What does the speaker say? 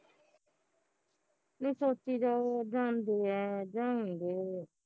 ਨਹੀਂ ਸੋਚੀ ਜਾਓ ਜਾਂਦੇ ਐ ਜਾਉਗੇ